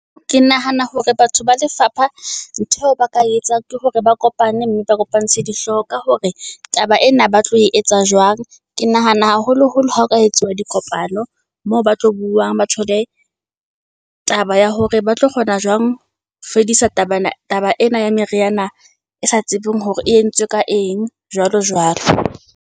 Ke nahana hore batho ba lefapha ntho eo ba ka e etsang ke hore ba kopane mme ba kopantshe dihlooho ka hore taba ena ba tlo e etsa jwang. Ke nahana haholoholo ha ho ka etsuwa dikopano ng moo ba tlo buang. Ba thole taba ya hore ba tlo kgona jwang ho fedisa taba taba ena ya meriana e sa tsebeng hore e entswe ka eng jwalo jwalo.